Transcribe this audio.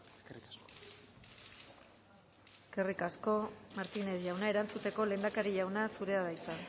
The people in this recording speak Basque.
eskerrik asko eskerrik asko martínez jauna erantzuteko lehendakari jauna zurea da hitza